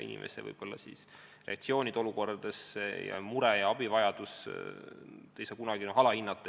Inimesed reageerivad raskestes olukordades erinevalt, aga kellegi muret ja abivajadust ei tohi kunagi alahinnata.